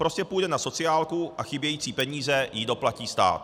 Prostě půjde na sociálku a chybějící peníze jí doplatí stát.